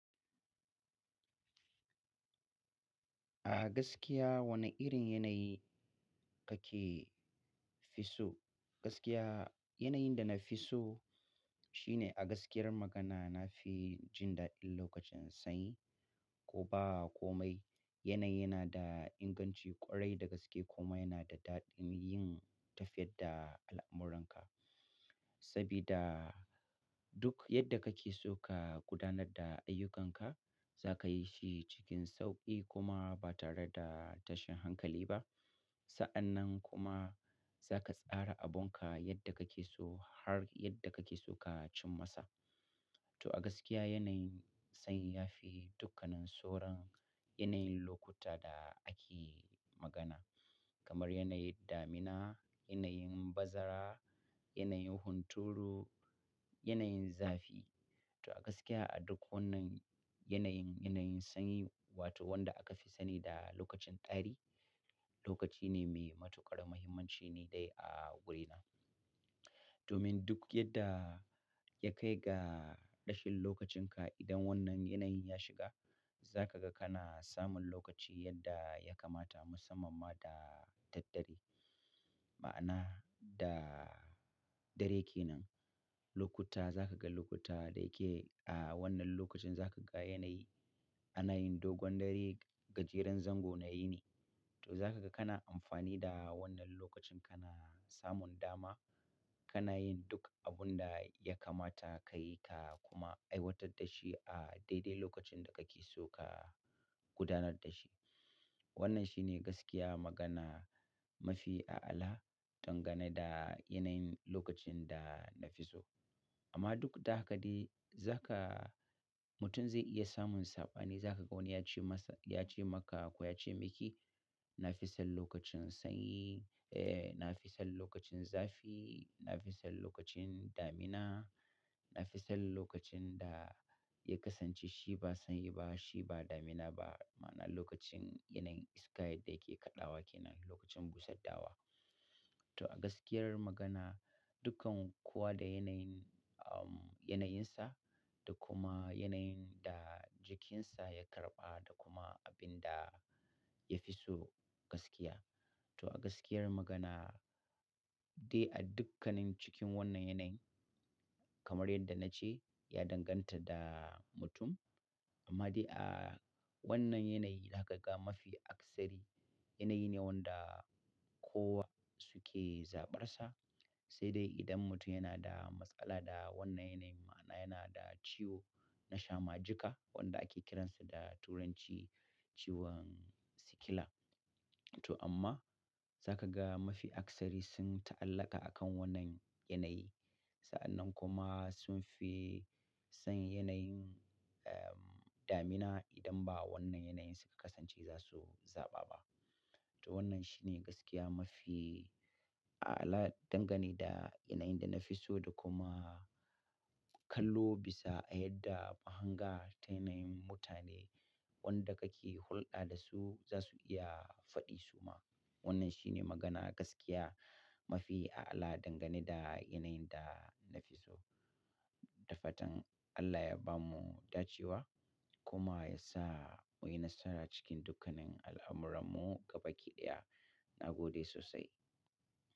A gaskiya wane irin yanayi kake fi so? Gaskiya yanayin da na fi so shine a gaskiyar magana na fi jin daɗin lokacin sanyi ko ba komai. Yanayi yana da inganci, ƙwarai da gaske kuma yana da daɗin yin tafiyar da al'amuranka. Sabida duk yadda kake so ka gudanar da ayyukanka, za ka yi shi cikin sauƙi kuma ba tare da tashin hankali ba. Sa'an nan kuma za ka tsara abunka yadda kake so har yadda kake so ka cim masa. To a gaskiya yanayin sanyi ya fi dukkanin sauran yanayin lokuta da ake magana, kamar yanayin damina, yanayin bazara, yanayin hunturu, yanayin zafi. To a gaskiya a duk wannan yanayin, yanayin sanyi wato wanda aka fi sani da lokacin ɗari, lokaci ne mai matuƙar muhimmanci ne dai a wurina. Domin duk yadda ya kai ga ɗashin lokacin ka idan wannan yanayin ya shiga, za ka ga kana samun lokaci yadda ya kamata musamman ma da taddari. Ma'ana da dare kenan, lokuta za ka ga lokuta da yake a wannan lokacin za ka ga yanayi ana yin dogon dare gajeren zango na yini. To za ka ga kana amfani da wannan lokacin kana samun dama, kana yin duk abun da ya kamata ka yi ka kuma aiwatar da shi a daidai lokacin da kake so ka gudanar da shi. Wannan shine gaskiya magana mafi a'ala dangane da yanayin lokacin da na fi so. Amma duk da haka dai zaka mutum zai iya samun sabani. Za ka ga wani ya ce masa, ya ce maka ko ya ce miki "na fi son lokacin sanyi, eh, na fi son lokacin zafi, na fi son lokacin damina, na fi son lokacin da ya kasance shi ba sanyi ba, shi ba damina ba." Ma'ana lokacin yanayin iska yadda yake kaɗawa ke nan, lokacin busaddawa. To a gaskiyar magana, dukkan kowa da yanayin, um, yanayinsa da kuma yanayin da jikinsa ya karɓa da kuma abin da ya fi so gaskiya. To a gaskiyar magana dai a dukkanin cikin wannan yanayi kamar yadda na ce ya danganta da mutum. Amma dai a wannan yanayi haka ga mafi aksari yanayi ne wanda kowa suke zaɓarsa. Sai dai idan mutum yana da matsala da wannan yanayi ma'ana yana da ciwo na shama jika wanda ake kiransa da turanci ciwon sikila. To amma za ka ga mafi aksari sun ta'allaka a kan wannan yanayi. Sa'an nan kuma sun fi son yanayin, um, damina idan ba wannan yanayin suka kasance za su zaɓa ba. To wannan shine gaskiya mafi a'ala dangane da yanayin da na fi so da kuma kallo bisa a yadda mahanga ta yanayin mutane wanda kake hulɗa da su za su iya faɗi su ma. Wannan shine magana gaskiya mafi a'ala dangane da yanayin da na fi so. Da fatan Allah ya ba mu dacewa kuma ya sa mu yi nasara cikin dukkanin al'amurarmu gaba ki ɗaya. Na gode sosai.